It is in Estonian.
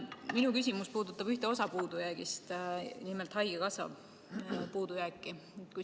Minu küsimus puudutab ühte osa puudujäägist, nimelt haigekassa puudujääki.